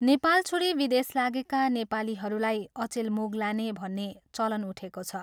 नेपाल छोडी विदेश लागेका नेपालीहरूलाई अचेल मुगलाने भन्ने चलन उठेको छ